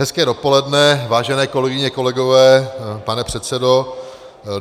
Hezké dopoledne, vážené kolegyně, kolegové, pane předsedo.